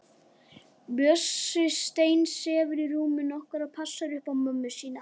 Bjössi steinsefur í rúminu okkar og passar upp á mömmu.